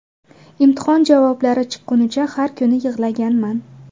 Imtihon javoblari chiqqunicha har kuni yig‘laganman.